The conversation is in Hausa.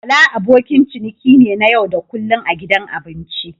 Bala abokin ciniki ne na yau da kullun a gidan abinci.